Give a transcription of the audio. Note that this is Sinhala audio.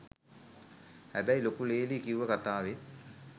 හැබැයි ලොකු ලේලි කිව්ව කතාවෙත්